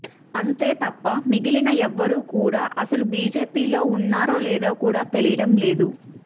అంతే తప్ప మిగిలిన ఎవ్వరు కూడా అసలు బిజెపిలో ఉన్నారో లేరో కూడా తెలియడంలేదు